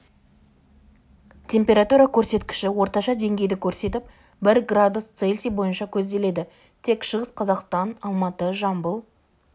температура көрсеткіші орташа деңгейді көрсетіп бір градус цельсий бойынша көзделеді тек шығыс қазақстан алматы жамбыл